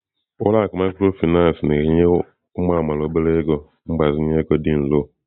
Ụlọ akụ mikrofinansị ahụ na-enye ụmụ amaala obere ego mgbazinye ego dị nro.